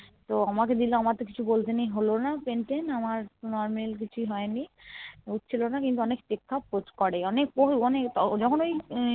তো আমাকে দিলো আমার তো কিছু বলতে নেই হলোনা Pain টেইন আমার Normal কিছুই হয়নি হচ্ছিলোনা কিন্তু অনেক checkup করে অনেক ও অনেক যখন ওই